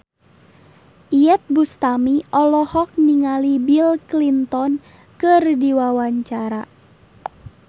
Iyeth Bustami olohok ningali Bill Clinton keur diwawancara